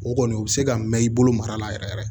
O kɔni o bɛ se ka mɛn i bolo mara la yɛrɛ